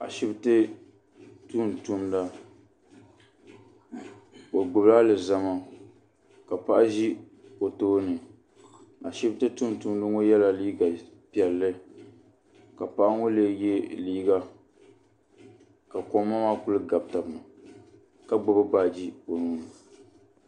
Ashipti tumtumda o gbibi alizama ka paɣa ʒi o tooni ashipti tumtumda ŋɔ yela liiga piɛlli ka paɣa ŋɔ lee ye liiga ka koma maa kuli gabi taba ni ka gbibi baaji o nuuni.